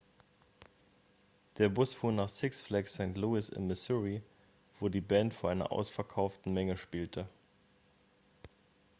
der bus fuhr nach six flags st. louis in missouri wo die band vor einer ausverkauften menge spielte